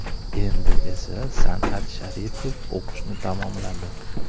Endi esa San’at Sharipov o‘qishni tamomladi.